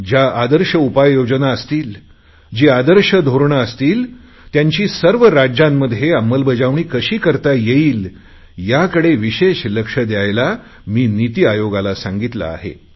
ज्या आदर्श उपाययोजना असतील जी आदर्श धोरणे असतील त्यांची सर्व राज्यांमध्ये अंमलबजावणी कशी करता येईल याकडे विशेष लक्ष द्यायला मी निती आयोगाला सांगितले आहे